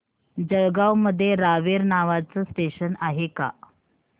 जळगाव मध्ये रावेर नावाचं स्टेशन आहे का